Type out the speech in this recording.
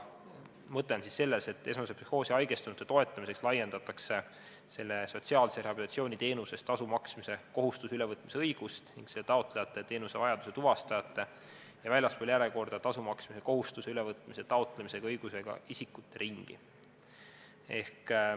Esmasesse psühhoosi haigestunute toetamiseks laiendatakse sotsiaalse rehabilitatsiooni teenuse eest tasu maksmise kohustuse ülevõtmise õigust ning taotlejate, teenusevajaduse tuvastajate ja väljaspool järjekorda tasu maksmise kohustuse ülevõtmise taotlemise õigusega isikute ringi.